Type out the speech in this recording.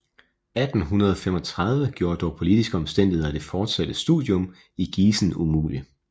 I 1835 gjorde dog politiske omstændigheder det fortsatte studium i Gießen umulig